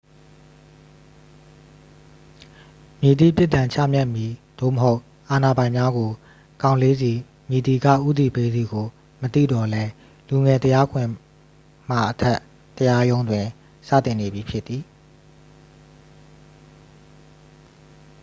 မည်သည့် ပြစ်ဒဏ်ချမှတ်မည် သို့မဟုတ် အာဏာပိုင်များကို ကောင်လေးဆီ မည်သည်က ဦးတည်ပေးသည်ကို မသိသော်လည်း လူငယ် တရားခွင်မှာ အထက်တရားရုံးတွင် စတင်နေပြီဖြစ်သည်